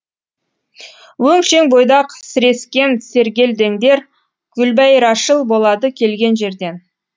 өншең бойдақ сірескен сергелдеңдер гүлбәйрашыл болады келген жерден